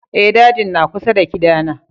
Eh, dajin na kusa da kida na